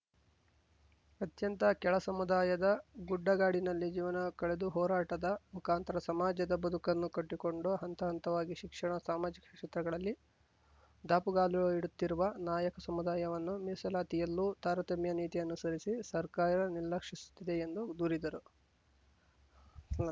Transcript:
ಅತ್ಯಂತ ಕೆಳ ಸಮುದಾಯದ ಗುಡ್ಡಗಾಡಿನಲ್ಲಿ ಜೀವನ ಕಳೆದು ಹೋರಾಟದ ಮುಖಾಂತರ ಸಮಾಜದ ಬದುಕನ್ನು ಕಟ್ಟಿಕೊಂಡು ಹಂತ ಹಂತವಾಗಿ ಶಿಕ್ಷಣ ಸಾಮಾಜಿಕ ಕ್ಷೇತ್ರಗಳಲ್ಲಿ ದಾಪುಗಾಲು ಇಡುತ್ತಿರುವ ನಾಯಕ ಸಮುದಾಯವನ್ನು ಮೀಸಲಾತಿಯಲ್ಲೂ ತಾರತಮ್ಯ ನೀತಿ ಅನುಸರಿಸಿ ಸರ್ಕಾರ ನಿರ್ಲಕ್ಷಿಸುತ್ತಿದೆ ಎಂದು ದೂರಿದರು